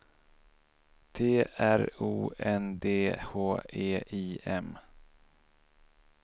T R O N D H E I M